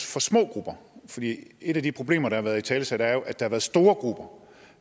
for små grupper et af de problemer der har været italesat er jo at der har været store grupper